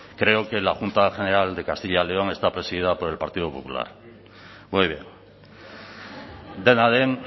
creo que la junta general de castilla y león está presidida por el partido popular muy bien dena den